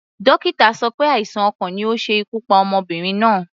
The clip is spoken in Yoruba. Dókítà sọ pé àìsàn ọkàn ni ó ṣe ikú pa ọmọbìnrin náà.